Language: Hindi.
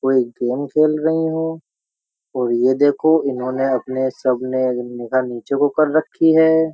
कोई गेम खेल रही हूं और ये देखो इन्होंने अपने सब ने निगाह नीचे को कर रखी है।